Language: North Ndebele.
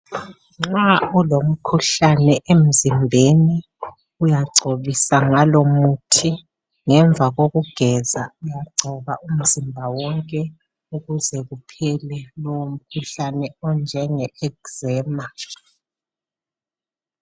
Nxa ulomkhuhlane emzimbeni uyagcobisa ngalomuthi ngemva kokugeza uyagcoba umzimba wonke ukuze uphele lowo mkhuhlane onjenge ezema.